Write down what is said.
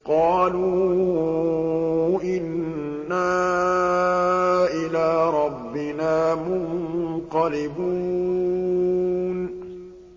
قَالُوا إِنَّا إِلَىٰ رَبِّنَا مُنقَلِبُونَ